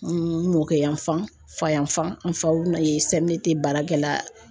N mokɛ yan fan, fa yan fan , n faw ye CMDT baarakɛla